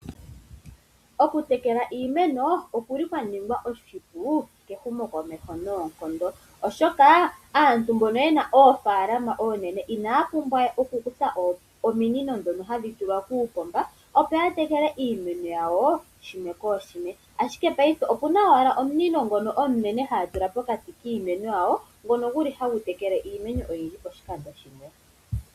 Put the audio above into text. Okutekela iimeno, oku li kwa ningwa oshipu kehumo komeho noonkondo, oshoka asntu mbono yena, oofalama oonene ina ya pumbwa we oku kutha ominino ndho ha dhi tulwa, kuupomba opo ya tekele iimeno yawo, koo shimwe nooshimwe, ashike paife opuna owala omunino ngono omunene ha ya tula pokati kiimeno yawo, ngono gu li ha gu tekele iimeno oyindji poshikando shimwe.